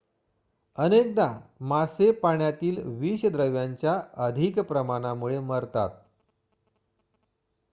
अनेकदा मासे पाण्यातील विषद्रव्यांच्या अधिक प्रमाणामुळे मरतात